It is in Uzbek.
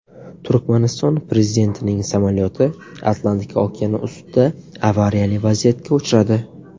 Turkmaniston prezidentining samolyoti Atlantika okeani ustida avariyali vaziyatga uchradi.